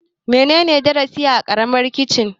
Menene darasi a Karamin Chicken?